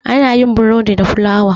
ana yin borodi da fulawa